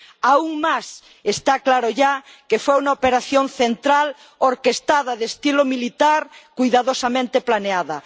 Aún más, está claro ya que fue una operación central orquestada, de estilo militar, cuidadosamente planeada.